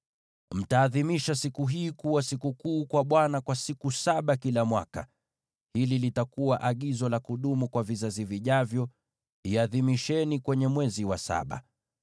Mtaadhimisha siku hii kuwa sikukuu kwa Bwana kwa siku saba kila mwaka. Hili litakuwa agizo la kudumu kwa vizazi vijavyo; iadhimisheni mwezi wa saba.